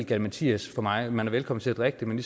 galimatias for mig man er velkommen til at drikke det men